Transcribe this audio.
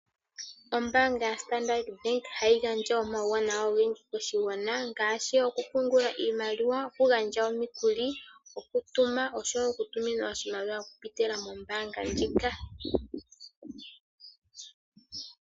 Ombaanga yaStandard Bank ohayi gandja omawuwanawa ogendji koshigwana ngaashi, okupungula oshimaliwa, okugandja omikuli, okutuma osho wo okutuminwa oshimaliwa okupitila mombaanga ndjika.